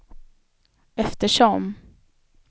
eftersom